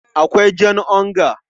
Akwai jan onga.